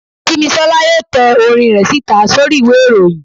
simisola yóò tẹ orín re sita sorí ìwé iroyín